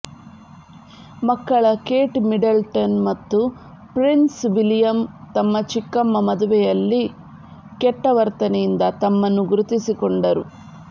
ಮಕ್ಕಳ Kate Middleton ಮತ್ತು prince William ತಮ್ಮ ಚಿಕ್ಕಮ್ಮ ಮದುವೆಯಲ್ಲಿ ಕೆಟ್ಟ ವರ್ತನೆಯಿಂದ ತಮ್ಮನ್ನು ಗುರುತಿಸಿಕೊಂಡರು